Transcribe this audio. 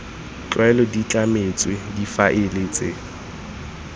tlwaelo di tlametswe difaele tse